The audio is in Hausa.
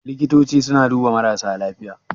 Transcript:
Likitoci suna duba marasa lafiya